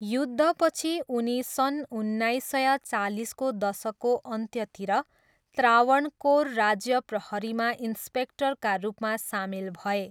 युद्धपछि उनी सन् उन्नाइस सय चालिसको दशकको अन्त्यतिर त्रावणकोर राज्य प्रहरीमा इन्स्पेक्टरका रूपमा सामेल भए।